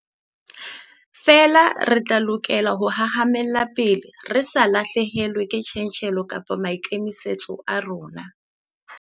Feela re lokela ho hahamalla pele, re sa lahlehelwe ke tjantjello kapa maikemisetso a rona.